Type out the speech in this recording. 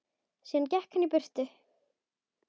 Síðan gekk hann burtu.